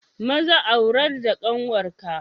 Maza aurar da ƙanwar ka!